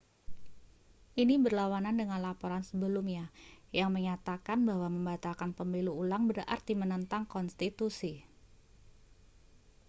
ini berlawanan dengan laporan sebelumnya yang menyatakan bahwa membatalkan pemilu ulang berarti menentang konstitusi